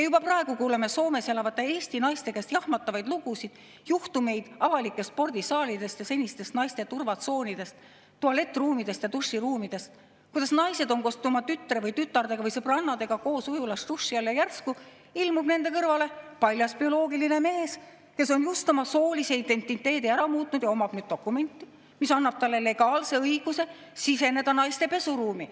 Juba praegu kuuleme Soomes elavate Eesti naiste käest jahmatavaid lugusid juhtumitest avalikes spordisaalides ja senistes naiste turvatsoonides, tualettruumides ja duširuumides, kuidas naised on koos oma tütre, tütarde või sõbrannadega ujulas duši all ja järsku ilmub nende kõrvale paljas bioloogiline mees, kes on just oma soolise identiteedi ära muutnud ja omab nüüd dokumenti, mis annab talle legaalse õiguse siseneda naiste pesuruumi.